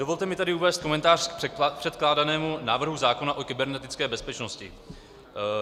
Dovolte mi tedy uvést komentář k předkládanému návrhu zákona o kybernetické bezpečnosti.